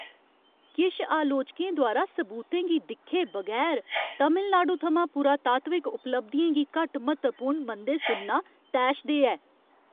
किश आलोचकें द्वारा सबूतें गी दिक्खे बगैर तमिलनाडु थमां पुरातात्विक उपलब्धियें गी घट्ट म्हत्तवपूर्ण मनदे सुनना तैशदेह् ऐ ।